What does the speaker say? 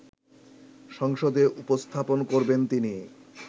সংসদে উপস্থাপন করবেন তিনি